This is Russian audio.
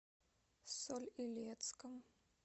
соль илецком